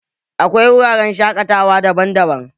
Akwai wuraren shaƙatawa daban-daban